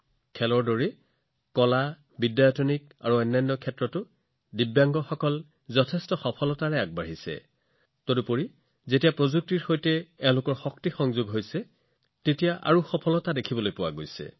ক্ৰীড়াৰ দৰে দিব্যাংগ অংশীদাৰসকলে কলা শিক্ষা আৰু আন বহুতো ক্ষেত্ৰত আশ্চৰ্যকৰ কাম কৰি আছে কিন্তু যেতিয়া এই সহকৰ্মীসকলে প্ৰযুক্তিৰ শক্তি লাভ কৰে তেওঁলোকে তাতোকৈও ডাঙৰ কাম কৰিব পাৰে